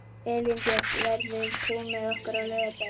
Elínbjört, ferð þú með okkur á laugardaginn?